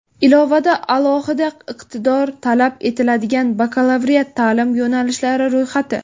Ilovada alohida iqtidor talab etiladigan bakalavriat ta’lim yo‘nalishlari ro‘yxati.